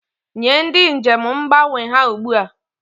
Nye ndị njem mgbanwe ha ugbu a!